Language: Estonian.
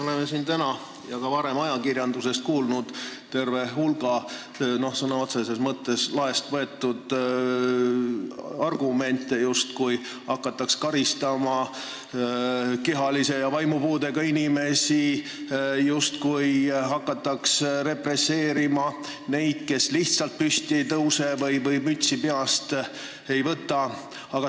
Oleme siin täna ja ka varem ajakirjanduse vahendusel kuulnud tervet hulka sõna otseses mõttes laest võetud argumente, justkui hakataks karistama kehalise ja vaimupuudega inimesi, represseerima neid, kes lihtsalt püsti ei tõuse või mütsi peast ei võta.